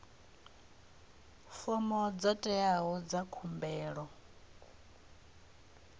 fomo dzo teaho dza khumbelo